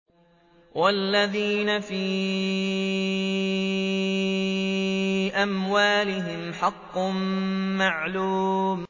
وَالَّذِينَ فِي أَمْوَالِهِمْ حَقٌّ مَّعْلُومٌ